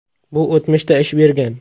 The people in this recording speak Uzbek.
Bu o‘tmishda ish bergan.